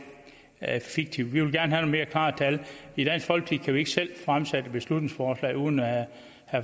fiktivt vi vil gerne have nogle mere klare tal i dansk folkeparti kan vi ikke selv fremsætte et beslutningsforslag uden at